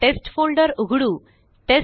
चलाTest folder उघडू